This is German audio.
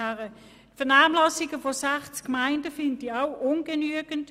Die Vernehmlassung bei 60 Gemeinden finde ich auch ungenügend.